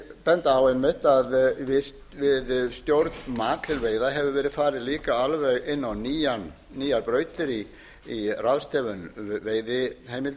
benda á einmitt að við stjórn makrílveiða hefur verið farið alveg inn á nýjar brautir í ráðstöfun